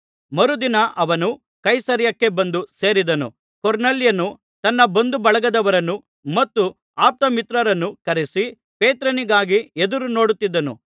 ಮರುದಿನ ಅವನು ಕೈಸರೈಯಕ್ಕೆ ಬಂದು ಸೇರಿದನು ಕೊರ್ನೆಲ್ಯನು ತನ್ನ ಬಂಧುಬಳಗದವರನ್ನೂ ಮತ್ತು ಅಪ್ತಮಿತ್ರರನ್ನೂ ಕರೆಯಿಸಿ ಪೇತ್ರನಿಗಾಗಿ ಎದುರುನೋಡುತ್ತಿದ್ದನು